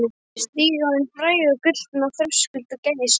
Ég stíg á hinn fræga gullna þröskuld og gægist út.